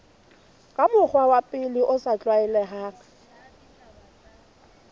ka mokgwa o sa tlwaelehang